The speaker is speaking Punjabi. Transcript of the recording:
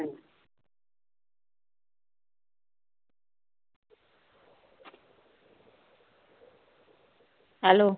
Hello